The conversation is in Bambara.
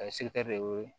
A ye de wele